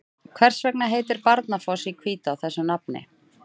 Hvers vegna heitir Barnafoss í Hvítá þessu nafni?